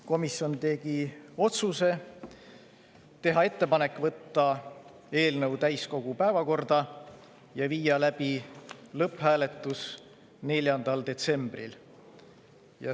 Komisjon tegi otsuse teha ettepanek võtta eelnõu täiskogu päevakorda ja viia läbi lõpphääletus 4. detsembril.